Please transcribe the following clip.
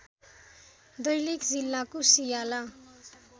दैलेख जिल्लाको सियाला